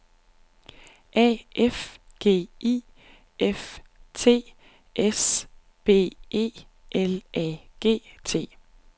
A F G I F T S B E L A G T